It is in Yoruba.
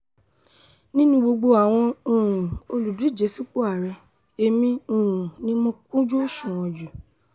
nínú gbogbo àwọn um olùdíje sípò àárẹ̀ èmi um ni mo kún ojú òṣùwọ̀n jù